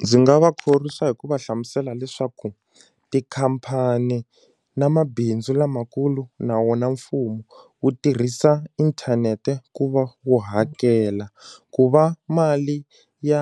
Ndzi nga va khorwisa hi ku va hlamusela leswaku tikhampani na mabindzu lamakulu na wona mfumo wu tirhisa inthanete ku va wu hakela ku va mali ya